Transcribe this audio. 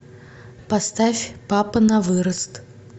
поставь папа на вырост